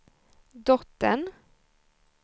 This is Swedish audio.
dottern